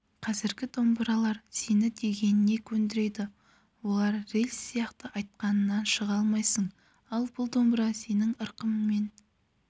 қазіргі домбыралар сені дегеніне көндіреді олар рельс сияқты айтқанынан шыға алмайсың ал бұл домбыра сенің ырқыңмен